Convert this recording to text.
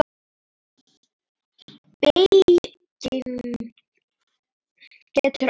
Beyging getur átt við